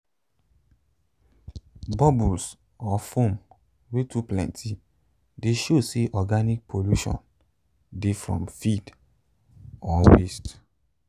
bubbles or foam wey too plenty de show say organic pollution dey from feed or waste